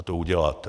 A to uděláte.